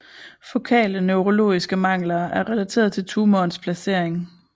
Fokale neurologiske mangler er relateret til tumorens placering